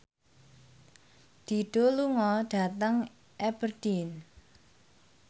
Dido lunga dhateng Aberdeen